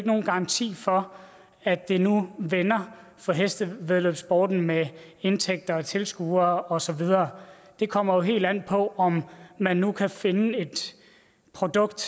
nogen garanti for at det nu vender for hestevæddeløbssporten med indtægter og tilskuere og så videre det kommer jo helt an på om man nu kan finde et produkt